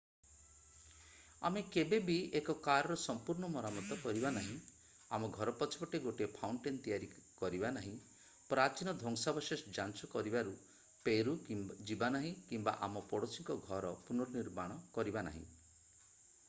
ଆମେ କେବେ ବି ଏକ କାର୍‌ର ସମ୍ପୂର୍ଣ୍ଣ ମରାମତି କରିବା ନାହିଁ ଆମ ଘର ପଛପଟେ ଗୋଟିଏ ଫାଉଣ୍ଟେନ୍ ତିଆରି କରିବା ନାହିଁ ପ୍ରାଚୀନ ଧ୍ୱଂସାବଶେଷ ଯାଞ୍ଚ କରିବାକୁ ପେରୁ ଯିବା ନାହିଁ କିମ୍ବା ଆମ ପଡ଼ୋଶୀଙ୍କ ଘରର ପୁନଃ-ନିର୍ମାଣ କରିବା ନାହିଁ।